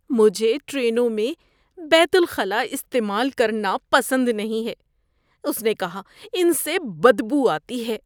مجھے ٹرینوں میں بیت الخلا استعمال کرنا پسند نہیں ہے، اس نے کہا، "ان سے بدبو آتی ہے"